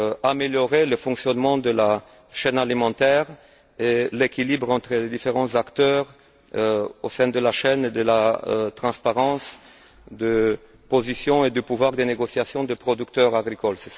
à améliorer le fonctionnement de la chaîne alimentaire et l'équilibre entre les différents acteurs au sein de la chaîne, ainsi que la transparence des positions et le pouvoir de négociation des producteurs agricoles.